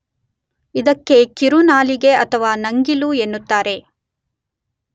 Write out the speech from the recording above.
ಇದಕ್ಕೆ ಕಿರುನಾಲಿಗೆ ಅಥವಾ ನಂಗಿಲು ಎನ್ನುತ್ತಾರೆ.